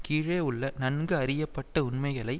கீழே உள்ள நன்கு அறியப்பட்ட உண்மைகளை